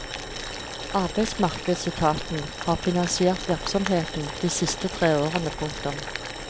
Arbeidsmarkedsetaten har finansiert virksomheten de siste tre årene. punktum